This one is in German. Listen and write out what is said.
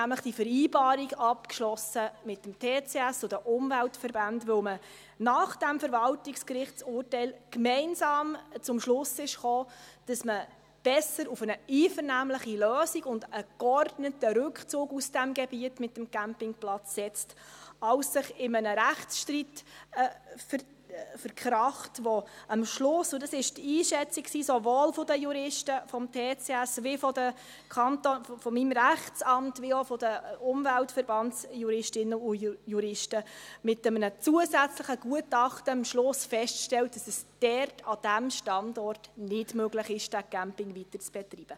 Er hat nämlich die Vereinbarung mit dem TCS und den Umweltverbänden abgeschlossen, weil man nach dem Verwaltungsgerichtsurteil gemeinsam zum Schluss kam, dass man besser auf eine einvernehmliche Lösung und einen geordneten Rückzug aus diesem Gebiet mit dem Campingplatz setzt, als sich in einem Rechtsstreit zu zerstreiten, bei dem man am Schluss feststellt – und das war die Einschätzung sowohl der Juristen des TCS, meines Rechtsamts als auch der Umweltverbandsjuristinnen und -juristen mit einem zusätzlichen Gutachten –, dass es dort an diesem Standort nicht möglich ist, den Campingplatz weiterzubetreiben.